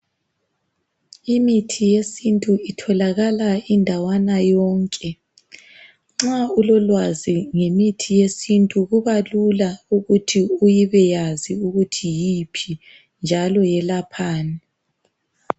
Imithi yesintu itholakala indawana yonke. Nxa ulolwazi ngemithi yesintu kubalula ukuthi ubeyazi ukuthi yiphi njalo yelaphani.